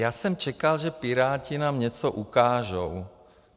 Já jsem čekal, že piráti nám něco ukážou.